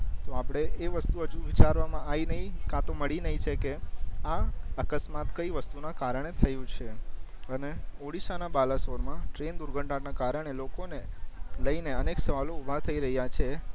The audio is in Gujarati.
તો આપડે એ વસ્તુ અજુ વિચારવામાં આવી નય કા તો મળી નય સકે આ અકસ્માત કઈ વસ્તુ ના કારણે થયું છે અને ઓડીસ્સા ના બલાસોર માં ટ્રેન દુર્ઘટના ના કારણે લોકો ને લઈ ને અનેક સવાલો ઊભા થઈ રહિયા છે